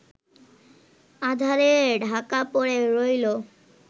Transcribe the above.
আঁধারে ঢাকা পড়ে রইলো